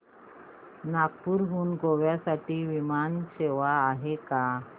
नागपूर हून गोव्या साठी विमान सेवा आहे का